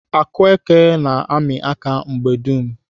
Akueke na-amị aka mgbe dum.